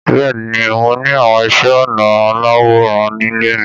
Bẹ́ẹ̀ ni, mo ní àwọn iṣẹ́-ọnà aláwòràn nílé mi.